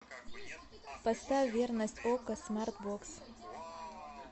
поставь верность окко смарт бокс